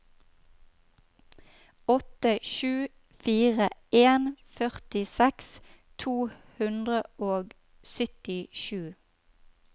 åtte sju fire en førtiseks to hundre og syttisju